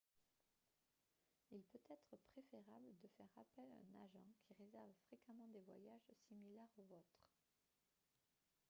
il peut être préférable de faire appel à un agent qui réserve fréquemment des voyages similaires au vôtre